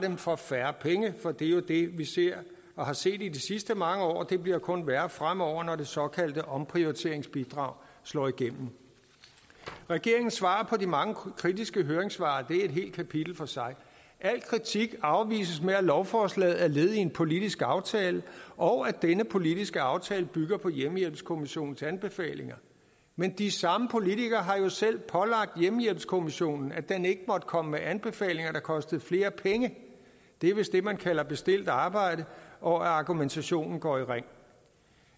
for færre penge for det er jo det vi ser og har set i de sidste mange år og det bliver kun værre fremover når det såkaldte omprioriteringsbidrag slår igennem regeringens svar på de mange kritiske høringssvar er et helt kapitel for sig al kritik afvises med at lovforslaget er led i en politisk aftale og at denne politiske aftale bygger på hjemmehjælpskommissionens anbefalinger men de samme politikere har jo selv pålagt hjemmehjælpskommissionen at den ikke måtte komme med anbefalinger der kostede flere penge det er vist det man kalder bestilt arbejde og at argumentationen går i ring